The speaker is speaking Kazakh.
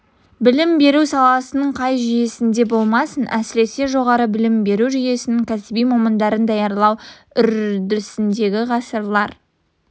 білім беру саласының қай жүйесінде болмасын әсіресе жоғары білім беру жүйесінің кәсіби мамандарын даярлау үрдісінде ғасырлар